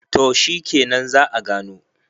to shikenan za `a gano